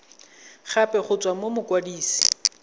gape go tswa go mokwadise